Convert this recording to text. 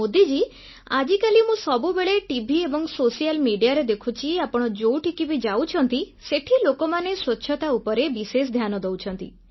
ମୋଦିଜୀ ଆଜିକାଲି ମୁଁ ସବୁବେଳେ ଟିଭି ଏବଂ ସୋସିଆଲ୍ ମେଡିଆ ରେ ଦେଖୁଛି ଆପଣ ଯେଉଁଠିକୁ ଯାଉଛନ୍ତି ସେଠି ଲୋକମାନେ ସ୍ୱଚ୍ଛତା ଉପରେ ବିଶେଷ ଧ୍ୟାନ ଦେଉଛନ୍ତି